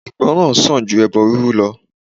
Ìgbọràn sàn ju ẹbọ rírú lọ.